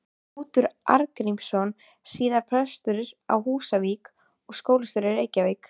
Knútur Arngrímsson, síðar prestur á Húsavík og skólastjóri í Reykjavík.